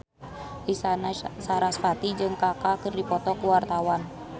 Isyana Sarasvati jeung Kaka keur dipoto ku wartawan